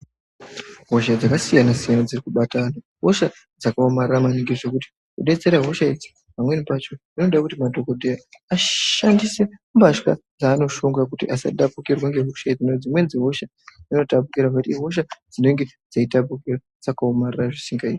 Hosha dzakasiyana siyqna dziri kubata antu hosha dzakaomarara maningi ngekuti Kudetsera hosha idzi pamweninpacho anode kuti madhokodheya ashandise mbatya dzaanoshonga kuti asatapukirwe ngehosha dzimwe dzimweni dzehosha inotapukira nekuti ihosha inenge dzetapukira dzakaomarara zvisingaiti.